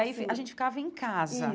Aí gente ficava em casa. Isso